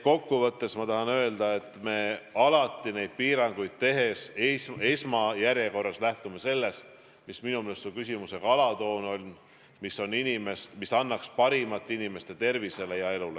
Kokkuvõtteks ma tahan öelda, et me alati neid piiranguid tehes esmajärjekorras lähtume sellest, mis minu meelest oli sinu küsimuse alatoon, et see annaks parimat inimeste tervisele ja elule.